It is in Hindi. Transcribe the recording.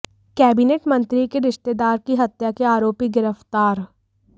कैबिनेट मंत्री के रिश्तेदार की हत्या के आरोपी गिरफ्तार